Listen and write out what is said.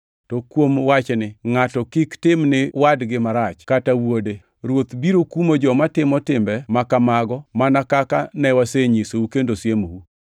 To kuom wachni, ngʼato kik tim ni wadgi marach kata wuonde. Ruoth biro kumo joma timo timbe ma kamago mana kaka ne wasenyisou kendo siemou.